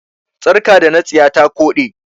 Sarƙa da na siya ta koɗe.